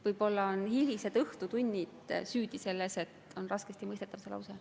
Võib-olla on hilised õhtutunnid süüdi selles, et see lause on raskesti mõistetav?